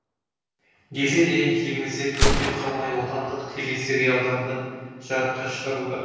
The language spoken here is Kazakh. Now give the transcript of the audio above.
деседе елімізде көптен қалмай отандық телесериалдарды жарыққа шығаруда